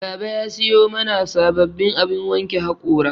Baba ya sayo mana sababbin abin wanke haƙora